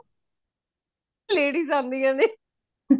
ladies ਆਂਦੀਆਂ ਨੇ